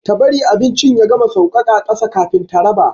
Ta bari abincin ya gama sauƙaƙa ƙasa kafin ta raba.